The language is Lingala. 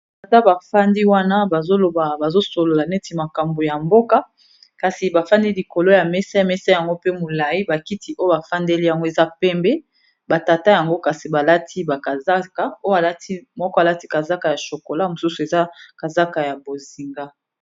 Balada bafandi wana bazoloba bazosolola neti makambo ya mboka, kasi bafandi likolo ya mesa ya mesa yango pe molai bakiti oyo bafandeli yango eza pembe. Batata yango kasi balati bakazaka oyo alati moko alati kazaka ya shokola mosusu eza kazaka ya bozinga.